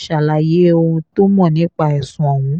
ṣàlàyé ohun tó mọ̀ nípa ẹ̀sùn ọ̀hún